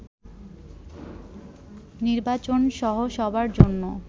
নির্বাচনসহ সবার জন্য